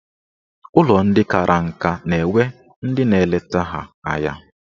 Ụlọ ndị kara nka na-enwe ndị na-eleta ha anya.